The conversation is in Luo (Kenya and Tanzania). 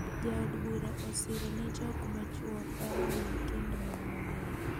Jaod bura osiro ne jok machuo paro ni gikend mon mang'eny.